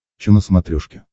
че на смотрешке